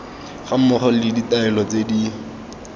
gammogo le ditaelo tse di